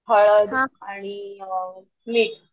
हळद आणि मीठ